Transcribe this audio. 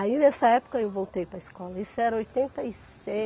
Aí nessa época eu voltei para a escola, isso era oitenta e